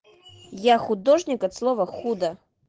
я художник от слова худо